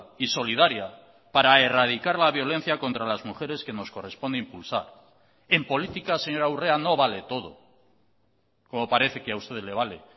y solidaria para erradicar la violencia contra las mujeres que nos corresponde impulsar en política señora urrea no vale todo como parece que a usted le vale